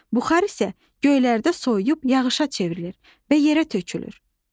Buxar isə göylərdə soyuyub yağışa çevrilir və yerə tökülür.